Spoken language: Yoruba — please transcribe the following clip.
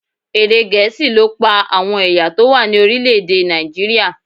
Èdè Gẹ̀ẹ́sì ló pa àwọn ẹ̀yà tó wà ní orílẹ̀ èdè Nàìjíríà.